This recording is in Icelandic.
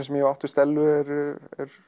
sem ég hef átt við Stellu eru